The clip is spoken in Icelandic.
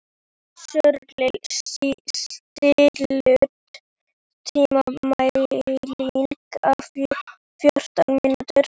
Sörli, stilltu tímamælinn á fjórtán mínútur.